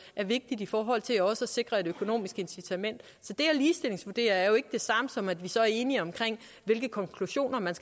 er vigtigt i forhold til også at sikre et økonomisk incitament så det at ligestillingsvurdere er jo ikke det samme som at vi så er enige om hvilke konklusioner man